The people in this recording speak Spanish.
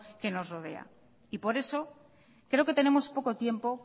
que nos rodea y por eso creo que tenemos poco tiempo